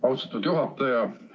Austatud juhataja!